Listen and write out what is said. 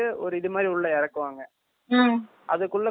அதுக்குள்ள கோடு எல்லாம் போட்டு file பண்ணி வச்சி இருப்பாங்க not clear